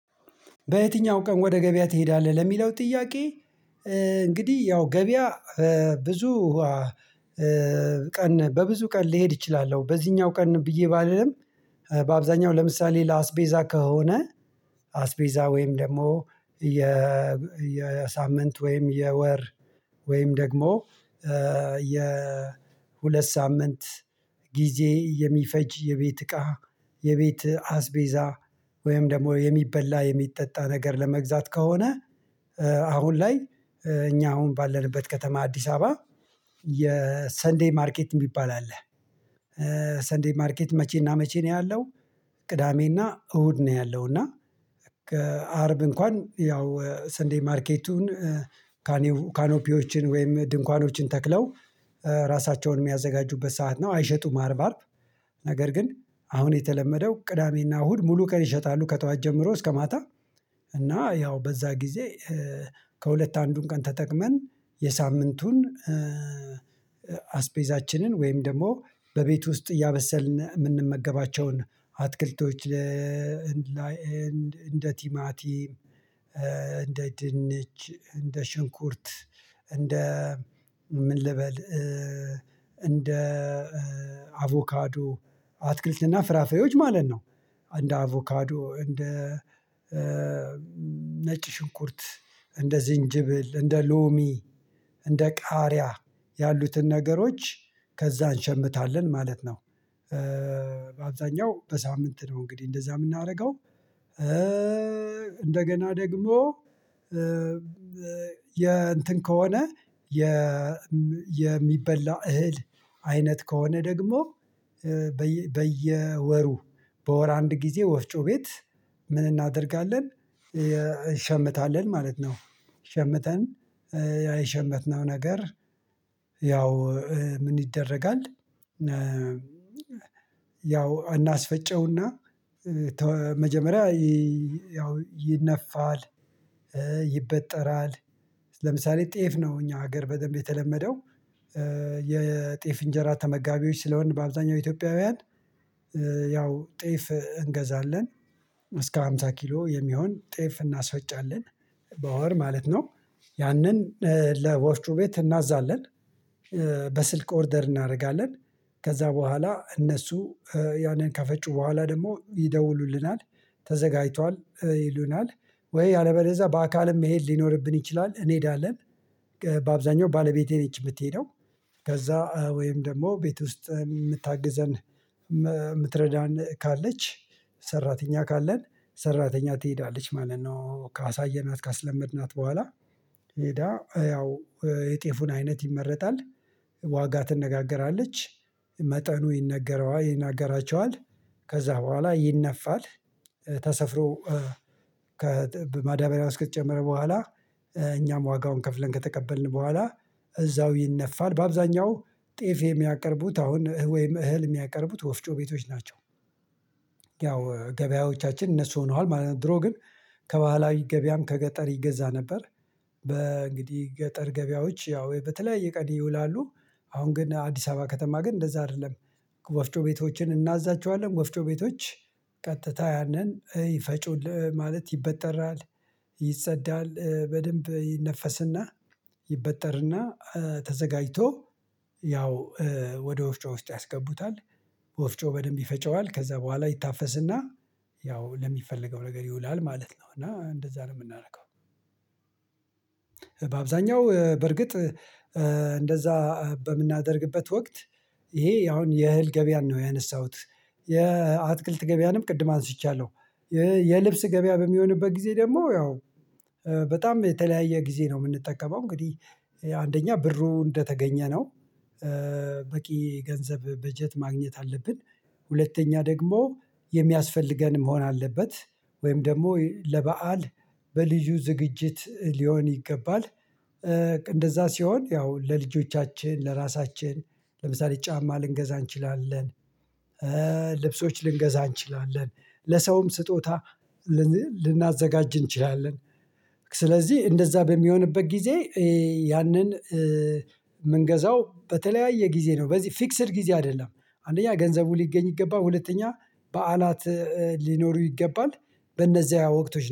በየትኛው ቀን ወደ ገበያ ትሄዳለህ? ለሚለው ጥያቄ እንግዲህ ያው ገበያ ብዙ ቀን በብዙ ቀን ልሄድ እችላለሁ በዚህኛው ቀን ብዬ ባልልም። በአብዛኛው ለምሳሌ ለአስቤዛ ከሆነ አስቤዛ ወይም ደግሞ የ የሳምንት ወይም የወር ወይም ደግሞ የሁለት ሳምንት ጊዜ የሚፈጅ የቤት እቃ የቤት አስቤዛ ወይም ደግሞ የሚበላ የሚጠጣ ነገር ለመግዛት ከሆነ አሁን ላይ እኛ አሁን ባለንበት ከተማ አዲስ አበባ የሰንዴይ ማርኬት የሚባል አለ። ሰንዴይ ማርኬት መቼና መቼ ነው ያለው? ቅዳሜና እሁድ ነው ያለው እና ከአርብ እንኳን ያው ሰንዴ ማርኬቱን ካኖፒዎችን ወይም ድንኳኖችን ተክለው ራሳቸውን የሚያዘጋጁበት ሰዓት ነው አይሸጡም አርብ አርብ ነገር ግን አሁን የተለመደው ቅዳሜና እሁድ ሙሉ ቀን ይሸጣሉ ከጠዋች ጀምሮ እስከ ማታ። እና ያው በዛ ጊዜ ከሁለት አንዱን ቀን ተጠቅመን የሳምንቱን አስፔዛችንን ወይም ደግሞ በቤት ውስጥ እያበሰልን የምንመገባቸውን አትክልቶች። እንደ ቲማቲ እንደ ድንች እንደ ሽንኩርት እንደ ምን ልበል እንደ አቮካዶ አትክልትና ፍራፍሬዎች ማለት ነው። እንደ አቮካዶ እንደ ነጭ ሽንኩርት እንደ ዝንጅብል እንደ ሎሚ እንደ ቃሪያ ያሉትን ነገሮች ከዛ እንሸምታለን ማለት ነው። በአብዛኛው በሳምንት ነው እንግዲህ እንደዛ የምናደርገው። እንደገና ደግሞ የእንትን ከሆነ የሚበላ እህል አይነት ከሆነ ደግሞ በየወሩ በወር አንድ ጊዜ ወፍጮ ቤት ምን እናደርጋለን እንሸምታለን ማለት ነው። ሸምተን ያሸመትነው ነገር ያው ምን ይደረጋል? ያው እናስፈጨውና መጀመሪያ ያው ይነፋል ይበጠራል ለምሳሌ ጤፍ ነው እኛ ሀገር በደንብ የተለመደው የጤፍ እንጀራ ተመጋቢዎች ስለሆንን በአብዛኛው ኢትዮጵያውያን ያው ጤፍ እንገዛለን። እስከ ሃምሳ ኪሎ የሚሆን ጤፍ እናስፈጫለን በወር ማለት ነው። ያንን ለወፍጮ ቤት እናዛለን። በስልክ ኦርደር እናደርጋለን ከዛ በኋላ እነሱ ያንን ከፈጩ በኋላ ደግሞ ይደውሉልናል። ተዘጋጅቷል ይሉናል ወይ ያለበለዛ በአካልም መሄድ ሊኖርብን ይችላል እንሄዳለን። በአብዛኛው ባለቤቴ ነች የምትሄደው። ከዛ ወይም ደግሞ ቤት ውስጥ የምታግዘን የምትረዳን ካለች ሰራተኛ ካለን ሰራተኛ ትሄዳለች ማለት ነው። ካሳየናት ካስለመድናት በኋላ ሄዳ ያው የጤፉን አይነት ይመረጣል። ዋጋ ትነጋገራለች መጠኑ ይነገራቸዋል ከዛ በኋላ ይነፋል ተሰፍሮ ማዳበሪያ ውስጥ ከተጨመረ በኋላ እኛም ዋጋውን ከፍለን ከተቀበልን በኋላ እዛው ይነፋል በአብዛኛው ጤፍ የሚያቀርቡት አሁን ወይም እህል የሚያቀርቡት ወፍጮ ቤቶች ናቸው። ያው ገበያዎቻችን እነሱ ሆነዋል ማለት ነው። ድሮ ግን ከባህላዊ ገበያም ከገጠር ይገዛ ነበር። በእንግዲህ ገጠር ገበያዎች ያው በተለይ ቀን ይውላሉ። አሁን ግን አዲስ አበባ ከተማ ግን እንደዛ አይደለም። ወፍጮ ቤቶችን እናዛቸዋለን ወፍጮ ቤቶች ቀጥታ ያንን ይፈጩልህ ማለት ይበጠራል። ይጸዳል በደንብ ይነፈስና ይበጠርና ተዘጋጅቶ ያው ወደ ወፍጮ ውስጥ ያስገቡታል። ወፍጮ በደንብ ይፈጨዋል ከዛ በኋላ ይታፈስና ያው ለሚፈለገው ነገር ይውላል ማለት ነው። እና እንደዛ ነው የምናረገው። በአብዛኛው በርግጥ እንደዛ በምናደርግበት ወቅት ይሄ አሁን የእህል ገበያን ነው ያነሳሁት። የአትክልት ገበያንም ቅድም አንስቻለሁ። የልብስ ገበያ በሚሆንበት ጊዜ ደግሞ ያው በጣም የተለያየ ጊዜ ነው የምንጠቀመው እንግዲህ አንደኛ ብሩ እንደተገኘ ነው። በቂ ገንዘብ በጀት ማግኘት አለብን። ሁለተኛ ደግሞ የሚያስፈልገን መሆን አለበት። ወይም ደግሞ ለበአል በልዩ ዝግጅት ሊሆን ይገባል። እንደዛ ሲሆን ያው ለልጆቻችን ለራሳችን ለምሳሌ ጫማ ልንገዛ እንችላለን። ልብሶች ልንገዛ እንችላለን ለሰውም ስጦታ ልናዘጋጅ እንችላለን። ስለዚህ እንደዛ በሚሆንበት ጊዜ ያንን ምንገዛው በተለያየ ጊዜ ነው በዚህ ፊክስድ ጊዜ አይደለም። አንደኛ ገንዘቡ ሊገኝ ይገባል ሁለተኛ በዓላት ሊኖሩ ይገባል። በእነዚያ ወቅቶች